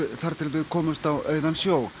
þar til þau komust á auðan sjó